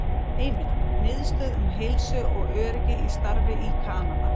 Heimild: Miðstöð um heilsu og öryggi í starfi í Kanada